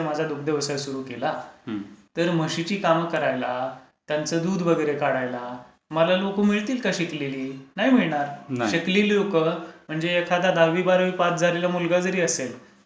मी जर माझा दुग्धव्यवसाय सुरू केला तर म्हशीची कामं करायला, त्यांचा दूध वगैरे काढायला मला लोकं मिळतील का शिकलेली? नाही मिळणार. शिकलेली लोकं म्हणजे एखादं दहावी बारावी पास झालेला मुलगा जरी असेल